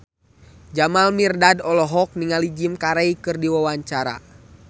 Jamal Mirdad olohok ningali Jim Carey keur diwawancara